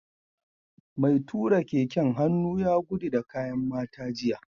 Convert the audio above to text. Mai tura keken hannu ya gudu da kayan mata jiya